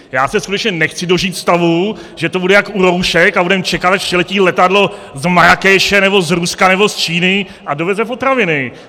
Já se skutečně nechci dožít stavu, že to bude jako u roušek a budeme čekat, až přiletí letadlo z Marrákeše nebo z Ruska nebo z Číny a doveze potraviny.